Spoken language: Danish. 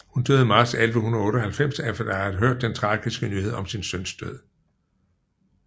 Hun døde marts 1198 efter at have hørt den tragiske nyhed om sin søns død